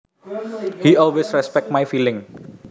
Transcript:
He always respects my feelings